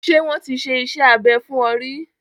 Ṣé wọ́n ti ṣe iṣẹ́ abẹ fún ọ ríí?